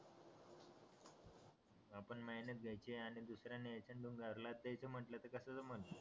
आपण मेहनत घेयाची आणि दुसरा नेहाचं आणि घरला न्यायची कस जमन